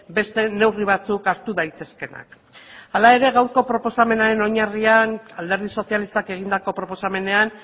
beste neurri batzuk hartu daitezkeenak hala ere gaurko proposamenaren oinarrian alderdi sozialistak egindako proposamenean